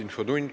Infotund.